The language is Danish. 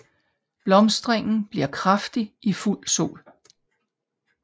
Blomstringen bliver kraftigst i fuld sol